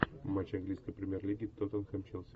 матч английской премьер лиги тоттенхэм челси